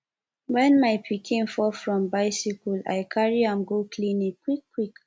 wen my pikin fall from bicycle i carry am go clinic quickquick